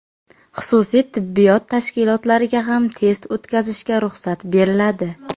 Xususiy tibbiyot tashkilotlariga ham test o‘tkazishga ruxsat beriladi.